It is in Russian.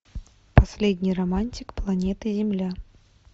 последний романтик планеты земля